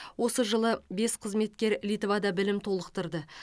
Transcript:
осы жылы бес қызметкер литвада білімін толықтырды